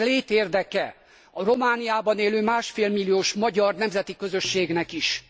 Ez létérdeke a Romániában élő másfél milliós magyar nemzeti közösségnek is.